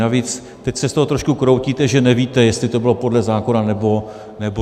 Navíc, teď se z toho trošku kroutíte, že nevíte, jestli to bylo podle zákona, nebo nebylo.